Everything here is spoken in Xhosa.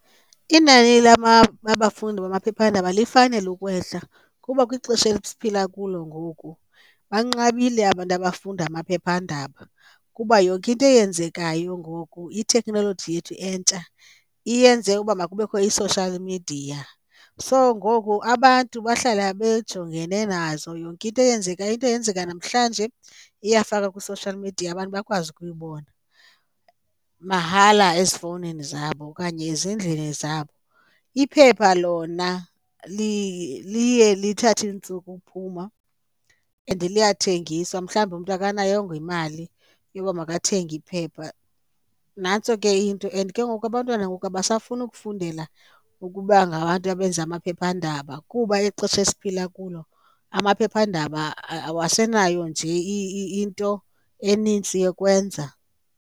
Inani labafundi bamaphephandaba lifanele ukwehla kuba kwixesha esiphila kulo ngoku banqabile abantu abafunda amaphephandaba kuba yonke into eyenzekayo ngoku itheknoloji yethu entsha iyenze uba makubekho i-social media. So ngoku abantu bahlala bejongene nazo, yonke into eyenzekayo, into yenzeka namhlanje iyafakwa kwi-social media abantu bakwazi ukuyibona mahala ezifowunini zabo okanye ezindlini zabo. Iphepha lona liye lithathe iintsuku uphuma and liyathengiswa, mhlawumbi umntu akanayongo imali yoba makathenge iphepha. Nantso ke into, and ke ngoku abantwana ngoku abasafuni ukufundela ukuba ngabantu abenza amaphephandaba kuba ixesha esiphila kulo amaphephandaba awasenayo nje into enintsi yokwenza.